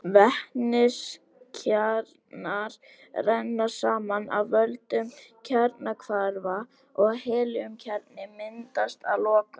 Vetniskjarnar renna saman af völdum kjarnahvarfa og helíumkjarni myndast að lokum.